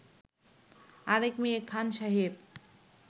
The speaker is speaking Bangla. আরেক মেয়ে খান সাহেব